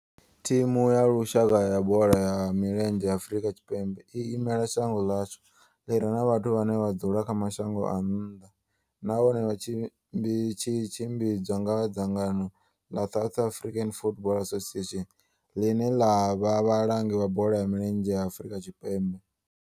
Thimu ya lushaka ya bola ya milenzhe ya Afrika Tshipembe i imela shango ḽa hashu ḽi re na vhathu vhane vha dzula kha mashango a nnḓa nahone tshi tshimbidzwa nga dzangano la South African Football Association, line la vha vhalangi vha bola ya milenzhe Afrika Tshipembe.